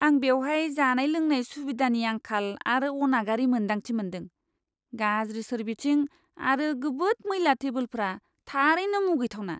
आं बेवहाय जानाय लोंनाय सुबिदानि आंखाल आरो अनागारि मोनदांथि मोन्दों, गाज्रि सोरबिथिं आरो गोबोद मैला टेबोलफोरा थारैनो मुगैथावना!